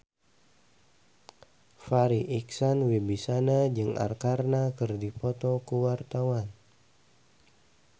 Farri Icksan Wibisana jeung Arkarna keur dipoto ku wartawan